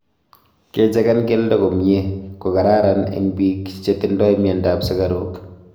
kechegan keldo komie kokararan eng piik chetindoi mianda ap sigaruk